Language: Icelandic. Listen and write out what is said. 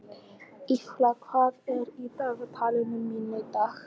Ýlfa, hvað er í dagatalinu mínu í dag?